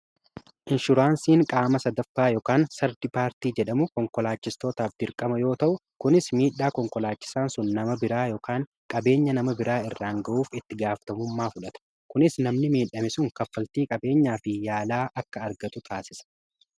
inshuraansiin qaama sadaffaa ykn sardi paartii jedhamu konkolaachistootaaf dirqama yoo ta'u kunis miidhaa konkolaachisaan sun nama biraa ykn qabeenya nama biraa irraan ga'uuf itti gaaftamummaa fudhata kunis namni miidhame sun kaffaltii qabeenyaa fi yaalaa akka argatu taasisa